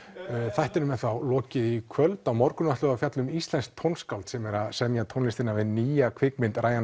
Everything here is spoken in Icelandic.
þættinum er þá lokið í kvöld á morgun ætlum við að fjalla um íslenskt tónskáld sem er að semja tónlist við nýja kvikmynd